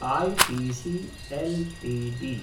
ITC LTD